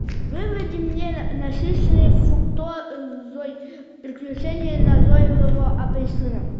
выведи мне насыщенные фруктозой приключения назойливого апельсина